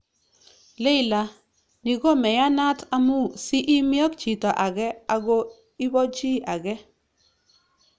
Leila:" Ni komeyanat, amune sii imi ak chito age ago ibo chi age